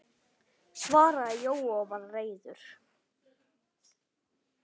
svaraði Jói og var reiður.